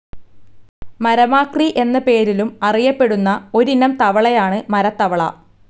മരമാക്രി എന്ന പേരിലും അറിയപ്പെടുന്ന ഒരിനം തവളയാണ് മരത്തവള.